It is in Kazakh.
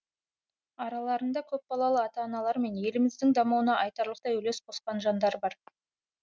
араларында көпбалалы ата аналар мен еліміздің дамуына айтарлықтай үлес қосқан жандар бар